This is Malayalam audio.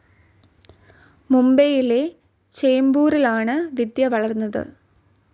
മുംബൈയിലെ ചേംബൂറിലാണ് വിദ്യ വളർന്നത്.